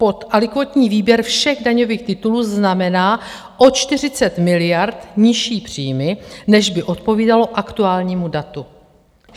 Podalikvótní výběr všech daňových titulů znamená o 40 miliard nižší příjmy, než by odpovídalo aktuálnímu datu.